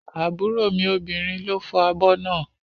Àbúrò mi obìnrin ló fọ́ abọ́ náà